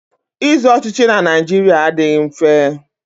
Ịzọ ọchịchị na Naịjirịa adịghị mfe.